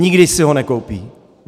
Nikdy si ho nekoupí!